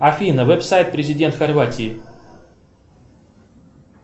афина веб сайт президент хорватии